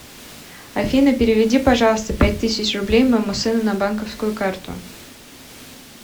афина переведи пожалуйста пять тысяч рублей моему сыну на банковскую карту